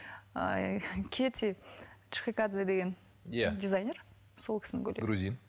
кете чхекадзе деген дизайнер сол кісінің көйлегі